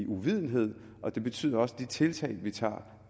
uvidenhed og det betyder også at de tiltag vi tager